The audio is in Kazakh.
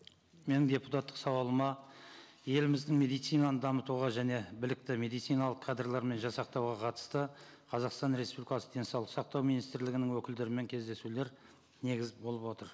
менің депутаттық сауалыма еліміздің медицинаны дамытуға және білікті медициналық кадрлары мен жасақтауға қатысты қазақстан республикасы денсаулық сақтау министрлігінің өкілдерімен кездесулер негіз болып отыр